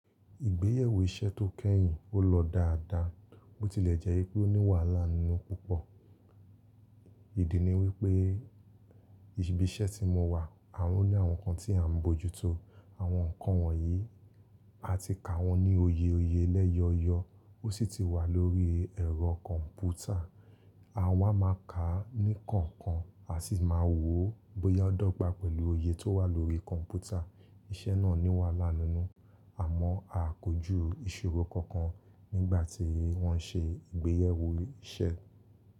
Ìgbéyàwó iṣẹ́ tó kẹ́yìn ó lọ dáadáa, bó ti lè jẹ́ pé ó ní wàhálà nínú púpọ̀. Ìdí ni wípé ibi iṣẹ́ tí mo wà, àwọn ní àwọn nkan tí à ń bójútó. Àwọn ǹkan wọ̀nyí, a ti kà wọ́n ní oye oye lẹ́yọyọ, ó sì ti wà lórí ẹ̀rọ kọ̀ǹpútà. A máa ma ká a ní kọkán, a sì máa wo bóyá ó dọ́gba pẹ̀lú oye tó wà lórí kọ̀ǹpútà. Iṣẹ́ náà ní wàhálà nínú, àmọ́ a kójú ìṣòro kankan nígbà tí wọ́n ń ṣe ìgbéyàwó iṣẹ́.